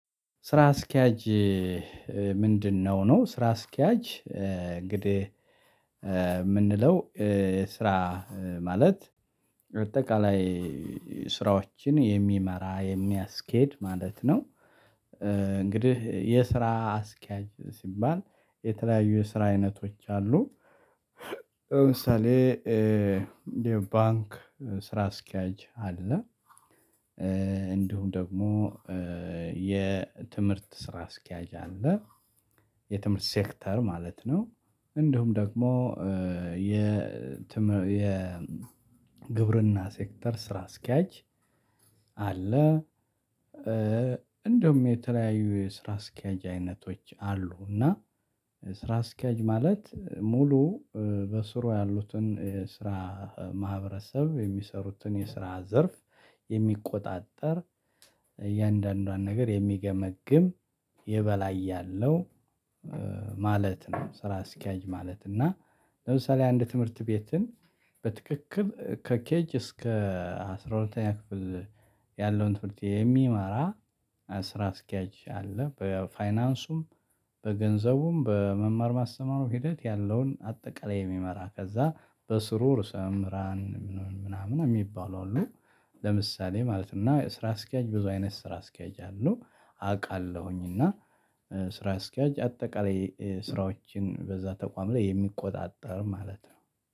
ስራ አስኪያጅ ምንድነው ነው? ስራ አስኪያጅ እንግዲህ ምንለው ስራ ማለት አጠቃላይ ስራዎችን የሚመራ የሚያስኬድ ማለት ነው። እንግዲህ የስራ አስኪያጅ ሲባል የተለያዩ የስራ አይነቶች አሉ። ለምሳሌ የባንክ ስራ አስኪያጅ አለ። እንዲሁም ደግሞ የትምህርት ስራ አስኪያጅ አለ። የትምህርት ሴክተር ማለት ነው። እንደውም ደግሞ የ ግብርና ሴክተር ስራ አስኪያጅ አለ። እንደውም የተለያዩ የስራ አስኪያጅ አይነቶች አሉ እና። ስራ አስኪያጅ ማለት ሙሉ በስሩ ያሉትን ስራ ማህበረሰብ የሚሰሩትን የስራ ዘርፍ የሚቆጣጠር እያንዳንዷን ነገር የሚገመግም የበላይ ያለው ማለት ነው። ስራ አስኪያጅ ማለት እና። ለምሳሌ አንድ ትምህርት ቤትን በትክክል ከኬጅ እስከ አስራ ሁለተኛ ክፍል ያለውን ትምህርት የሚመራ ስራ አስኪያጅ አለ። በፋይናንሱም በገንዘቡም በመማር ማስተማሩ ሂደት ያለውን አጠቃላይ የሚመራ ከዛ በስሩ ርእሰምህራን ምናምን እሚባሉ አሉ። ለምሳሌ ማለት እና ስራ አስኪያጅ ብዙ አይነት ስራ አስኪያጅ አለው። አቃለሁኝ እና ስራ አስኪያጅ አጠቃላይ ስራዎችን በዛ ተቋም ላይ የሚቆጣጠር ማለት ነው።